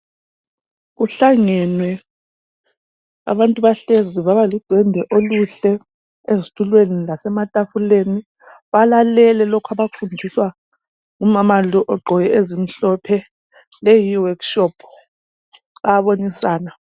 Kuhlangenwe abantu bahlezi baba ludwendwe oluhle ezitulweni lasema tafuleni balalele lokhu abakufundiswa ngumama lo ogqoke okumhlophe leyi yi workshop bayabonisana